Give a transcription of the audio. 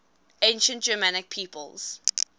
ancient germanic peoples